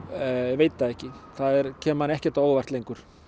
veit það ekki það kemur manni ekkert á óvart lengur